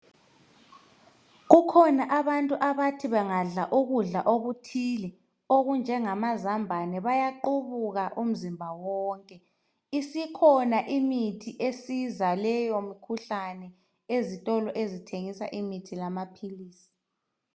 kukhona abantu abathi bangadla ukudla okuthile okunjengamazambane bayaqubuka umzimba wonke isikhona imithi esiza leyo mkhuhlane ezitolo ezithengisa imithi lamaphilisi